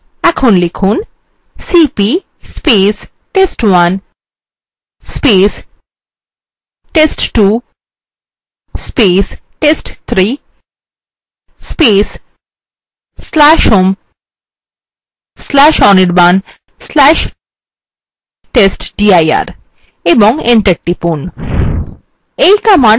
এখন লিখুন $cp test1 test2 test3/home/anirban/testdir এবং enter টিপুন